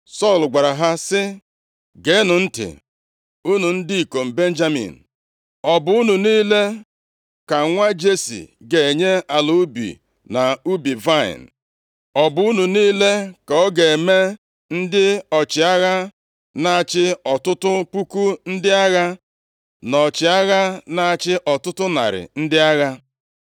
Sọl gwara ha sị, “Geenụ ntị unu ndị ikom Benjamin! Ọ bụ unu niile ka nwa Jesi ga-enye ala ubi na ubi vaịnị? Ọ bụ unu niile ka ọ ga-eme ndị ọchịagha na-achị ọtụtụ puku ndị agha, na ọchịagha na-achị ọtụtụ narị ndị agha?